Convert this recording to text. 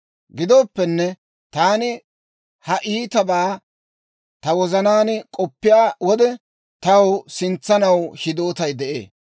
Gidooppenne, taani ha ittibaa ta wozanaan k'oppiyaa wode, taw sintsanaw hidootay de'ee.